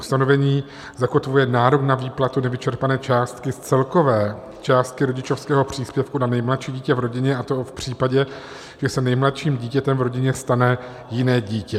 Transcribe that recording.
Ustanovení zakotvuje nárok na výplatu nevyčerpané částky z celkové částky rodičovského příspěvku na nejmladší dítě v rodině, a to v případě, že se nejmladším dítětem v rodině stane jiné dítě.